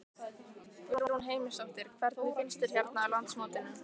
Guðrún Heimisdóttir: Hvernig finnst þér hérna á landsmótinu?